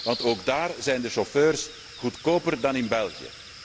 Want ook daar zijn de chauffeurs goedkoper dan in België.